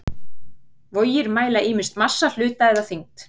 Vogir mæla ýmist massa hluta eða þyngd.